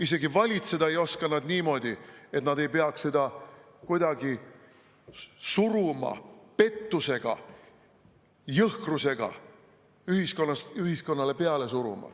Isegi valitseda ei oska nad niimoodi, et nad ei peaks kuidagi pettusega suruma, jõhkrusega ühiskonnale peale suruma.